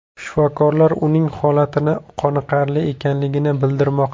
Shifokorlar uning holatini qoniqarli ekanligini bildirmoqda.